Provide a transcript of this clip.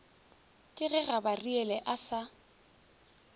ke ge gabariele a sa